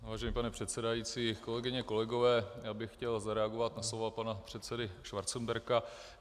Vážený pane předsedající, kolegyně, kolegové, já bych chtěl zareagovat na slova pana předsedy Schwarzenberga.